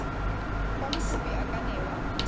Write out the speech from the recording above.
fa mokopi a ka newa